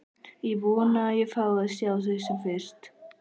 Ég vona að ég fái að sjá þig sem fyrst.